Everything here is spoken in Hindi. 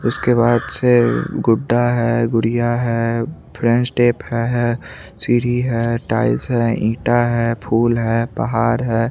उसके बाद से गुड्डा है गुडिय है फ्रेंड्स टेप का है सीरी है टाइल्स है ईटा है फुल है पहाड़ है।